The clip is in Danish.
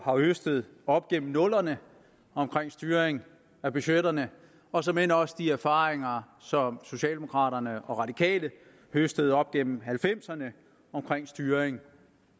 har høstet op gennem nullerne omkring styring af budgetterne og såmænd også de erfaringer som socialdemokraterne og radikale høstede op gennem nitten halvfemserne omkring styring